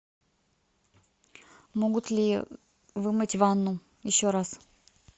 могут ли вымыть ванну еще раз